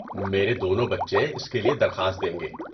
میرے دونوں بچے اس کے لیے درخواست دیں گے۔